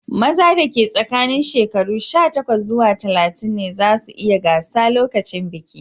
Maza da ke tsakanin shekaru sha takwas zuwa talatin ne zasu iya gasa lokacin bikin.